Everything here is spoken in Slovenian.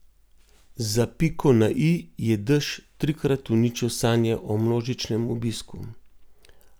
Za piko na i je dež trikrat uničil sanje o množičnem obisku.